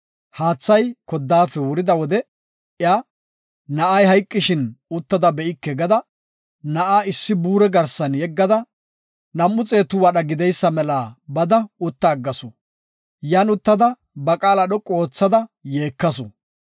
Haathay koddaafe wurida wode iya, “Na7ay hayqishin, uttada be7ike” gada, na7a issi buure garsan yeggada, nam7u xeetu wadha gideysa mela bada utta aggasu. Yan uttada, ba qaala dhoqu oothada yeekasu.